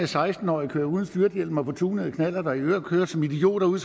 seksten årige kører uden styrthjelm og på tunede knallerter og i øvrigt kører som idioter ude